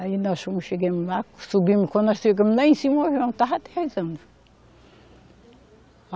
Aí nós fomos, chegamos lá, subimos, quando nós chegamos lá em cima, o avião estava aterrissando.